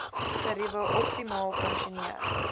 geriewe optimaal funksioneer